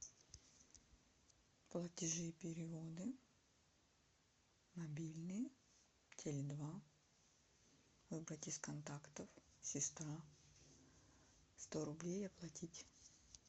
платежи и переводы мобильный теле два выбрать из контактов сестра сто рублей оплатить